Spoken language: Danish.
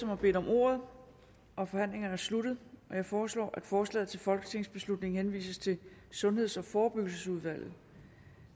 har bedt om ordet og forhandlingen er sluttet jeg foreslår at forslaget til folketingsbeslutning henvises til sundheds og forebyggelsesudvalget